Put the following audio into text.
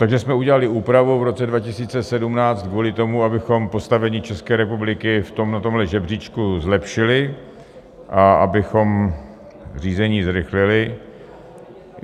Takže jsme udělali úpravu v roce 2017 kvůli tomu, abychom postavení České republiky v tomhle žebříčku zlepšili a abychom řízení zrychlili.